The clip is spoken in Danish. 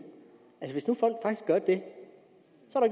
af